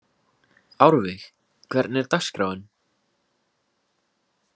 Árveig, hvernig er dagskráin?